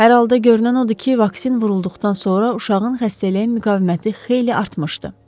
“Hər halda görünən odur ki, vaksin vurulduqdan sonra uşağın xəstəliyə müqaviməti xeyli artmışdı.”